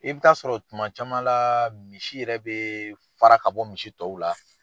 I bɛ taa sɔrɔ tuma caman la misi yɛrɛ bɛ fara ka bɔ misi tɔw la.